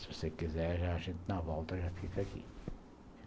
Se você quiser, a gente na volta já fica aqui.